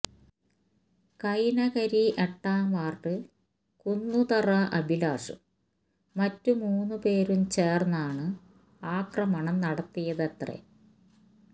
കൈനകരി എട്ടാം വാര്ഡ് കുന്നുതറ അഭിലാഷും മറ്റു മൂന്നുപേരും ചേര്ന്നാണ് ആക്രമണം നടത്തിയതത്രെ